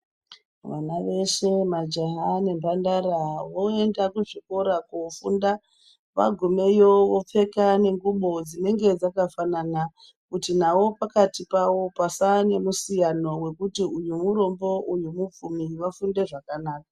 Vana veshe majaha nemhandara voenda kuzvikora kofunda vagumeyo vopfeka nengubo dzinenge dzakafanana kuti nawo pakati pawo pasava nemusiyano wekuti uyu murombo uyu mupfumi vafunde zvakanaka.